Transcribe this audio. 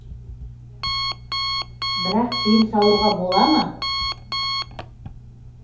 бірақ тыйым салуға бола ма